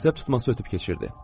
Əsəb tutması ötüb keçirdi.